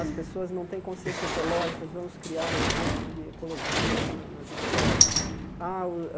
As pessoas não têm consciência ecológica, vamos criar um curso de ecologia na nas escolas. Ah o